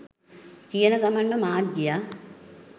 කියන ගමන්ම මාත් ගියා